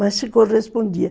Mas se correspondia.